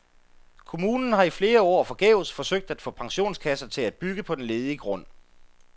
Kommunen har i flere år forgæves forsøgt at få pensionskasser til at bygge på den ledige grund.